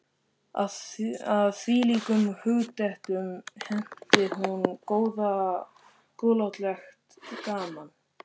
Að þvílíkum hugdettum henti hún góðlátlegt gaman.